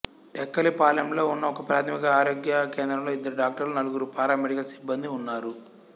టెక్కలిపాలెంలో ఉన్న ఒకప్రాథమిక ఆరోగ్య కేంద్రంలో ఇద్దరు డాక్టర్లు నలుగురు పారామెడికల్ సిబ్బందీ ఉన్నారు